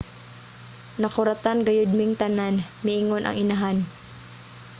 "nakuratan gayud ming tanan, miingon ang inahan